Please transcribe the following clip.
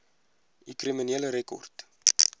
u kriminele rekord